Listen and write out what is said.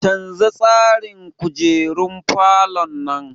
Canza tsarin kujerun falon nan!